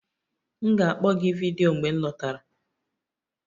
M ga-akpọ gị vidiyo mgbe m lọtara.